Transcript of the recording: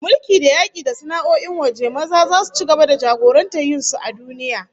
Mulki, da yaki, da sana'o'in waje, maza zasu ci gaba da jagorantar yin sun a duniya